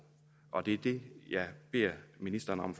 og det er det jeg beder ministeren om